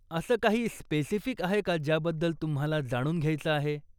असं काही स्पेसिफिक आहे का ज्या बद्दल तुम्हाला जाणून घ्यायचं आहे?